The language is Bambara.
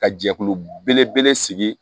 Ka jɛkulu belebele sigi